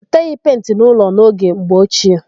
E teghị penti n'ụlọ n'oge mgbe ochie.